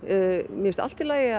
mér finnst allt í lagi